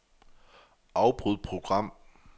Afbryd program.